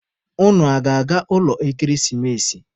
Unu a ga-aga ụlọ ekeresimesi?